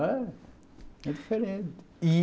Né, é diferente. E